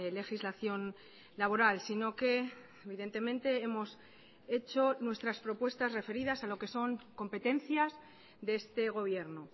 legislación laboral sino que evidentemente hemos hecho nuestras propuestas referidas a lo que son competencias de este gobierno